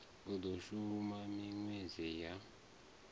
i do shuma minwedzi ya